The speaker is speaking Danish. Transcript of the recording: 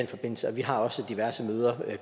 forbindelse vi har også diverse møder